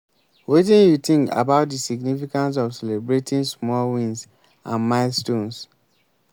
wetin you think about di significance of celebrating small wins and milestones?